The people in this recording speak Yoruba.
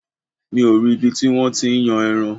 Mi ò rí ibi tí wọ́n ti ń yan ẹran.